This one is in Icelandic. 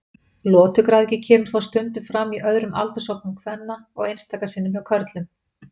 Lotugræðgi kemur þó stundum fram í öðrum aldurshópum kvenna og einstaka sinnum hjá körlum.